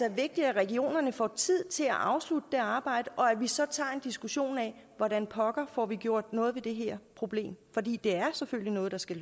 er vigtigt at regionerne får tid til at afslutte det arbejde og at vi så tager en diskussion af hvordan pokker får gjort noget ved det her problem for det er selvfølgelig noget der skal